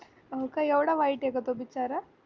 अं काय एवढा वाईटए का तो दिसायला